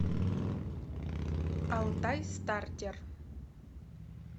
алтайстартер